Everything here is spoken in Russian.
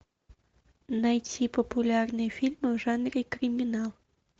найти популярные фильмы в жанре криминал